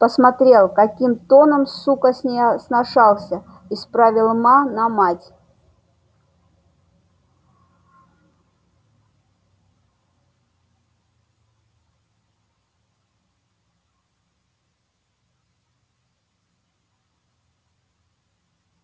посмотрел каким тоном сука с ней сношался исправил ма на мать